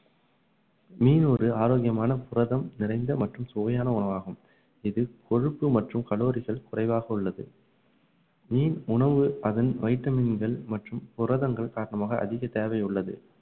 மீன் ஒரு ஆரோக்கியமான புரதம் நிறைந்த மற்றும் சுவையான உணவாகும் இது கொழுப்பு மற்றும் கலோரிகள் குறைவாக உள்ளது மீன் உணவு அதன் வைட்டமின்கள் மற்றும் புரதங்கள் காரணமாக அதிக தேவை உள்ளது